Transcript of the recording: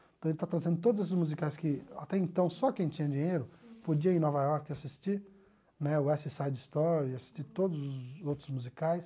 Então ele está trazendo todos esses musicais que até então só quem tinha dinheiro podia ir em Nova York assistir, né o West Side Story, assistir todos os outros musicais.